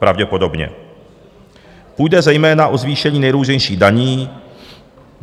Pravděpodobně půjde zejména o zvýšení nejrůznějších daní.